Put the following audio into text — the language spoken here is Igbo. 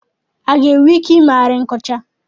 A ga-enwe ike ị meghari nkọcha?